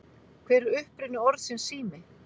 Hver er uppruni orðsins sími?